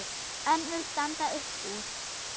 Önnur standa upp úr.